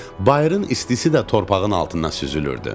Bayırın istisi də torpağın altından süzülürdü.